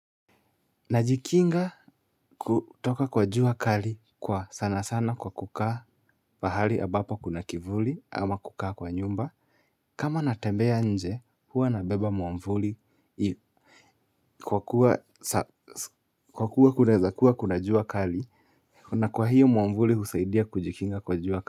Najikinga kutoka kwa jua kali kwa sanasana kwa kukaa pahali ambapo kuna kivuli ama kukaa kwa nyumba. Kama natembea nje huwa nabeba mwamvuli kwa kuwa kuneza kuwa kuna jua kali na kwa hiyo mwamvuli husaidia kujikinga kwa jua.